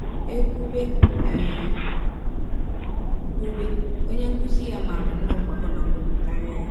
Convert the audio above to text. E kwụbe E kwụbe, onye nkụzi ya maara nnọọ mgbakọ na mwepụ karịa ya.